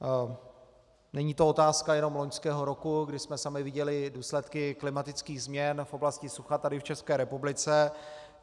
Není to otázka jenom loňského roku, kdy jsme sami viděli důsledky klimatických změn v oblasti sucha tady v České republice.